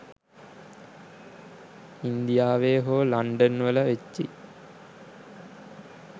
ඉන්දියාවේ හෝ ලන්ඩන් වල වෙච්චි